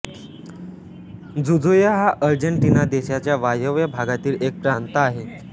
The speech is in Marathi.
जुजुय हा आर्जेन्टिना देशाच्या वायव्य भागातील एक प्रांत आहे